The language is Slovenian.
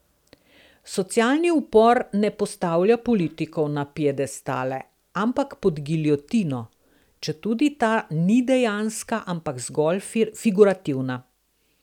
Socialni upor ne postavlja politikov na piedestale, ampak pod giljotino, četudi ta ni dejanska, ampak zgolj figurativna.